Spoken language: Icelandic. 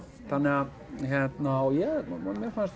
þannig að hérna og mér fannst